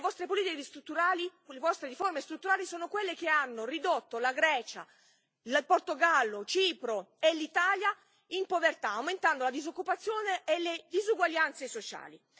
Le vostre politiche strutturali, con le vostre riforme strutturali, sono quelle che hanno ridotto la Grecia, il Portogallo, Cipro e l'Italia in povertà, aumentando la disoccupazione e le disuguaglianze sociali.